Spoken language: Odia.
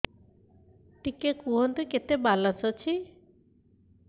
ଟିକେ କୁହନ୍ତୁ କେତେ ବାଲାନ୍ସ ଅଛି